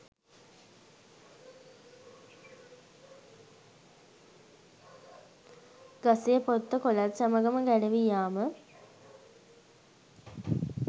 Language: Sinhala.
ගසේ පොත්ත කොළත් සමඟම ගැලවී යාම